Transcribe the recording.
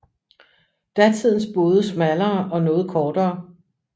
Datidens både smallere og noget kortere